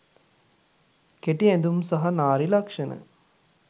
කෙටි ඇඳුම් සහ නාරි ලක්ෂණ